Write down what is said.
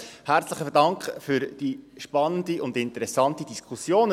Herzlichen Dank für diese spannende und interessante Diskussion.